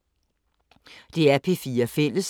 DR P4 Fælles